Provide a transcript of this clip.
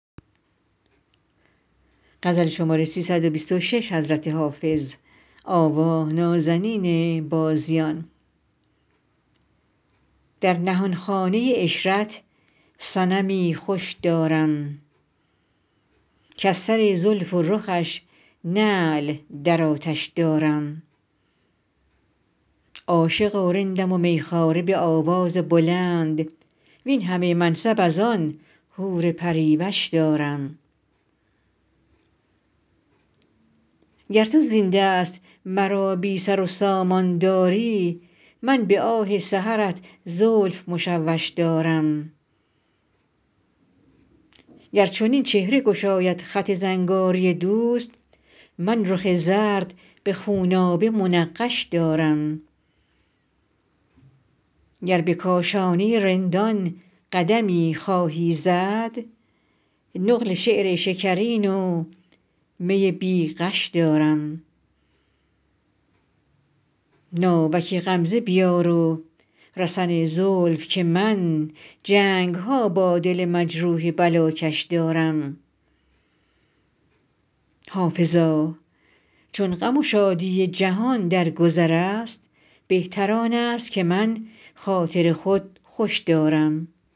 در نهانخانه عشرت صنمی خوش دارم کز سر زلف و رخش نعل در آتش دارم عاشق و رندم و می خواره به آواز بلند وین همه منصب از آن حور پری وش دارم گر تو زین دست مرا بی سر و سامان داری من به آه سحرت زلف مشوش دارم گر چنین چهره گشاید خط زنگاری دوست من رخ زرد به خونابه منقش دارم گر به کاشانه رندان قدمی خواهی زد نقل شعر شکرین و می بی غش دارم ناوک غمزه بیار و رسن زلف که من جنگ ها با دل مجروح بلاکش دارم حافظا چون غم و شادی جهان در گذر است بهتر آن است که من خاطر خود خوش دارم